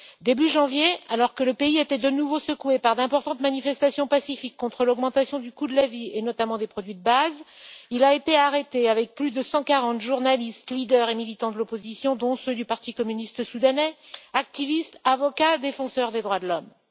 Début janvier, alors que le pays était de nouveau secoué par d'importantes manifestations pacifiques contre l'augmentation du coût de la vie et notamment des produits de base, il a été arrêté avec plus de 140 journalistes, leaders et militants de l'opposition, dont ceux du Parti communiste soudanais, activistes, avocats, défenseurs des droits de l'homme.